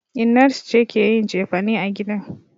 Innar su ce ke yin cefane a gidan.